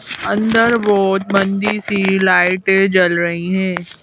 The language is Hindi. अंदर बहुत मंदी सी लाइटें जल रही हैं।